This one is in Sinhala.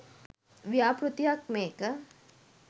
ව්‍යාපෘතියක් මේක.